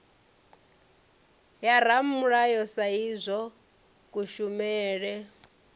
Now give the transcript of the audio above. ya ramulayo sa idzwo kushumele